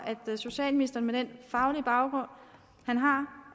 at ministeren med den faglige baggrund